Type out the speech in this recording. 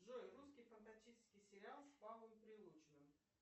джой русский фантастический сериал с павлом прилучным